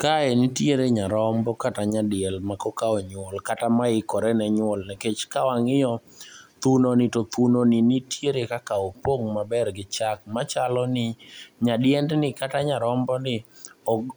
Kae nitiere nyarombo kata nyadiel ma koka onyuol kata maikore ne nyuol nikech ka wang'iyo thunoni to thunoni nitiere kaka opong' maber gi chak machalo ni nyadiend ni kata nyaromboni